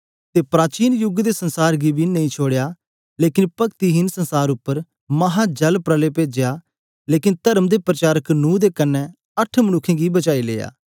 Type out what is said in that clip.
अते प्राचीन युग दे दुनिया गी बी नां छोड़ेया लेकन पक्तिहेन जगत उप्पर महा जलप्रलय पेजेया लेकन तर्म दे पाशनक नूह बेलैत अट्ठ मनुक्खे गी बचाई लेया